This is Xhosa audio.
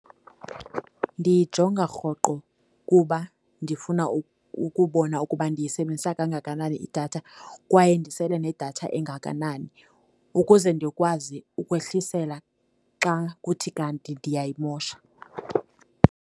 Ndiyijonga rhoqo kuba ndifuna ukubona ukuba ndiyisebenzisa kangakanani idatha kwaye ndisele nedatha engakanani ukuze ndikwazi ukwehlisela xa kuthi kanti ndiyayimosha.